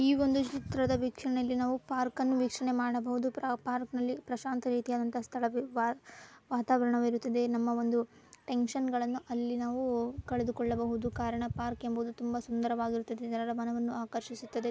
ಈ ಒಂದು ಚಿತ್ರದ ವಿಕ್ಷಣೆಯಲ್ಲಿ ನಾವು ಪಾರ್ಕ್ ಅನ್ನು ವೀಕ್ಷಣೆ ಮಾಡಬಹುದು. ಪಾರ್ಕ್ನಲ್ಲಿ ಪ್ರಶಾಂತ ರೀತಿಯಾದಂತ್ ಸ್ತಳ ವಾ ವಾತಾವರಣವಿರುತ್ತದೆ. ನಮ್ಮ ಒಂದು ಟೆನ್ಷನ್ ಗಳನ್ನು ಅಲ್ಲಿ ನಾವು ಕಳೆದುಕೊಳ್ಳಬಹುದು ಕಾರಣ ಪಾರ್ಕ್ ಎಂಬುದು ಸುಂದರವಾಗಿರುತ್ತದೆ ಜನರ ಮನವನ್ನು ಆಕರ್ಷಿಸುತ್ತದೆ.